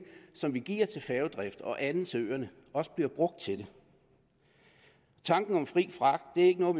som vi giver til færgedrift og andet til øerne også bliver brugt til det tanken om fri fragt er ikke noget